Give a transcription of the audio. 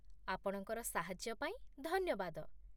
ଆପଣଙ୍କର ସାହାଯ୍ୟ ପାଇଁ ଧନ୍ୟବାଦ।